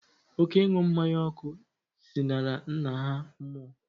Oké ịnu mmanya ọkụ zinara nna ha mmuo